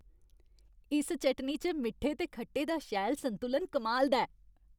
इस चटनी च मिट्ठे ते खट्टे दा शैल संतुलन कमाल दा ऐ।